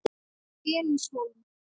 Elías Hólm.